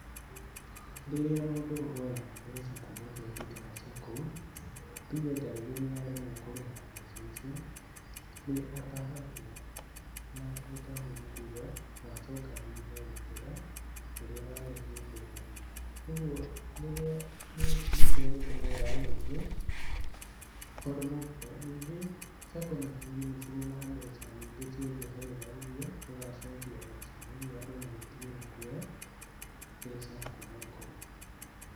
Rĩrĩa mũndũ oya mbeca kuma bengi kana SACCO, tuge tarĩngĩ nĩ aremwo kũrĩha mbeca icio nĩ atahagwo, na gũtahwo nĩ kuga wacoka thutha gũkĩra ũrĩa warĩ hĩndĩ ĩyo, ũgũo rĩrĩa ,nĩkio gĩtũmaga andũ aingĩ maremwo kwoya, ningĩ SACCO na bengi nĩcirĩ na mbeca nyingĩ cia njoherera iria ũgacokia nacio ũguo andũ magetigĩra kwoya mbeca kuma kũu.